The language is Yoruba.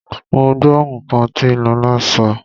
Mo gbọ́ nǹkan tí Lọlá sọ oo.